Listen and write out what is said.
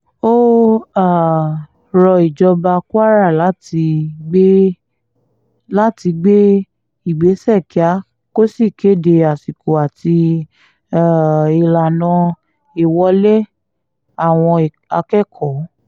ó um rọ ìjọba kwara láti gbé láti gbé ìgbésẹ̀ kíá kó sì kéde àsìkò àti um ìlànà ìwọlé àwọn akẹ́kọ̀ọ́